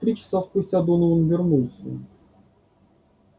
три часа спустя донован вернулся